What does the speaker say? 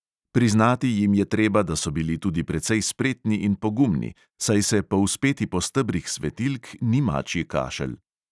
Priznati jim je treba, da so bili tudi precej spretni in pogumni, saj se povzpeti po stebrih svetilk ni mačji kašelj.